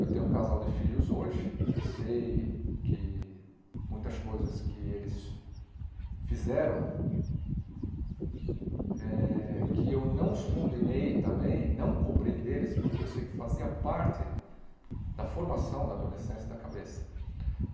Eu tenho um casal de filhos hoje e sei que muitas coisas que eles fizeram, eh que eu não os condenei também, não cobrei deles, porque eu sei que fazia parte da formação na adolescência da cabeça.